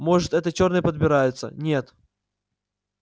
может это чёрные подбираются нет